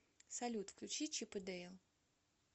салют включи чип и дейл